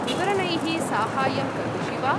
विवरणैः साहाय्यं करोषि वा?